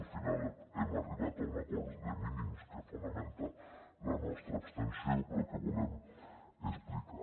al final hem arribat a un acord de mínims que fonamenta la nostra abstenció però que volem explicar